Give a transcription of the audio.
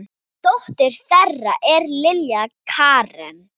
Dóttir þeirra er Lilja Karen.